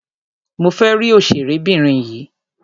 Mo fẹ́ rí òṣèré obìnrin yìí.